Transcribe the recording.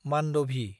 मान्दभि